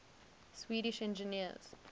swedish engineers